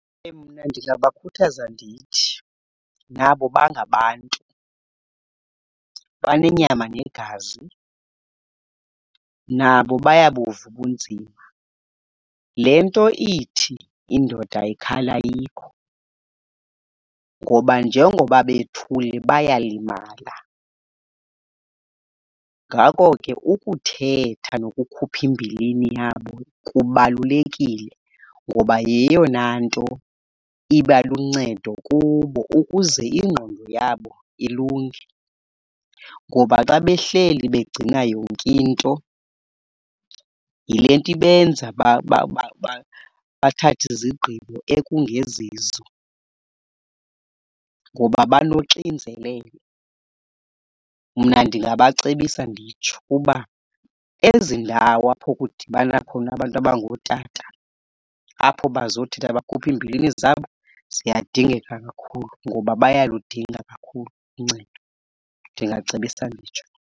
Mna ndingabakhuthaza ndithi nabo bangabantu, banenyama negazi, nabo bayabuva ubunzima. Le nto ithi indoda ayikhali ayikho, ngoba njengoba bethule bayalimala. Ngako ke, ukuthetha nokukhupha imbilini yabo kubalulekile ngoba yeyona nto iba luncedo kubo ukuze ingqondo yabo ilunge. Ngoba xa behleli begcina yonke nto yilento ibenza bathathe izigqibo ekungezizo, ngoba banoxinzelelo. Mna ndingabacebisa nditsho uba ezi ndawo apho kudibana khona abantu abangootata apho bazothetha bakhuphe iimbilini zabo ziyadingeka kakhulu ngoba bayaludinga kakhulu uncedo. Ndingacebisa nditsho.